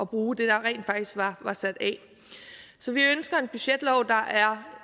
bruge det der rent faktisk var var sat af så vi ønsker en budgetlov der er